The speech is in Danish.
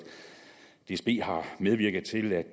dsb har medvirket til at